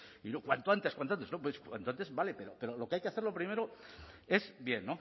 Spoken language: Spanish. y cuanto antes cuanto antes no cuanto antes vale pero lo que hay que hacerlo primero es bien